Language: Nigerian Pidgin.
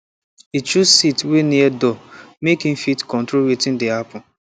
e choose seat wey near door make e fit control wetin dey happen